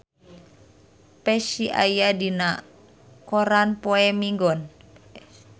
Psy aya dina koran poe Minggon